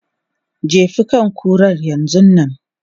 Jefi kan kuran yanzun nan!